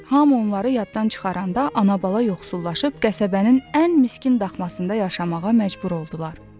Hamı onları yaddan çıxaranda ana bala yoxsullaşıb qəsəbənin ən miskin daxmasında yaşamağa məcbur oldular.